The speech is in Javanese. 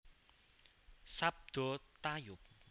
Sabda tayub